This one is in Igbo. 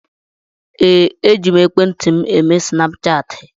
Ee, eji m ekwentị m eme snapchaatị.